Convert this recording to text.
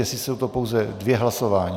Jestli jsou to pouze dvě hlasování?